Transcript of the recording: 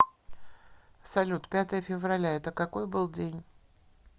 салют пятое февраля это какой был день